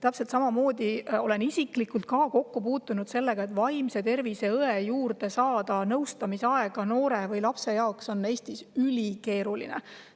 Olen ise samamoodi kokku puutunud sellega, et noorele või lapsele on Eestis vaimse tervise õe juurde nõustamise aega saada ülikeeruline.